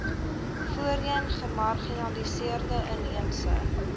voorheen gemarginaliseerde inheemse